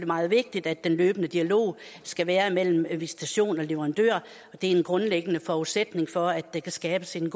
meget vigtigt at den løbende dialog skal være mellem visitation og leverandør det er en grundlæggende forudsætning for at der kan skabes et